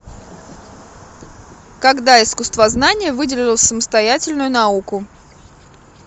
когда искусствознание выделилось в самостоятельную науку